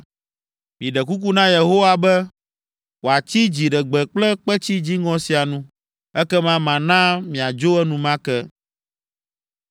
Miɖe kuku na Yehowa be, wòatsi dziɖegbe kple kpetsi dziŋɔ sia nu, ekema mana miadzo enumake.”